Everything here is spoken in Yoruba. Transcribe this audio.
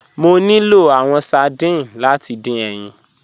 Mọ̀ ní lọ̀ awọn sardines láti dín ẹyin.